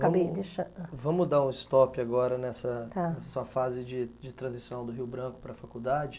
Calma aí, deixa... Vamos dar um stop agora nessa nessa sua fase de transição do Rio Branco para a faculdade.